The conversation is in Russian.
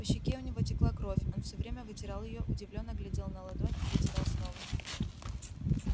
по щеке у него текла кровь он всё время вытирал её удивлённо глядел на ладонь и вытирал снова